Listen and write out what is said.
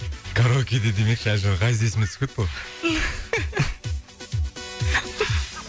караокеде демекші ғазиз есіме түсіп кетті ғой